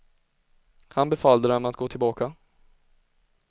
Han befallde dem att gå tillbaka.